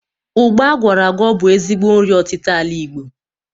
Ụgba agwọrọ agwọ bu ezigbo nri ọtita ala Igbo.